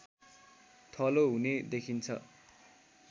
थलो हुने देखिन्छ